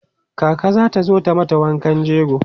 kaka zata zo ta mata wankan jego